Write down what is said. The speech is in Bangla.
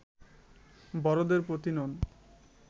বড়দের প্রতি নন